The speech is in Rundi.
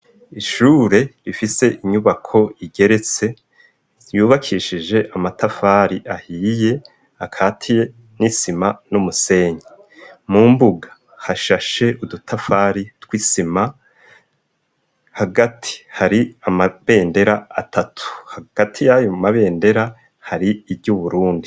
Ishure rifise inyubako igeretse yubakishije amatafari ahiye akatiye n'isima n'umusenyi mu mbuga hashashe udutafari tw'isima hagati hari amabendera atatu hagati y'ayo mabendera hari iry'Uburundi